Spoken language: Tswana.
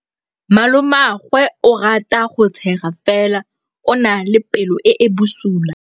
Malomagwe o rata go tshega fela o na le pelo e e bosula.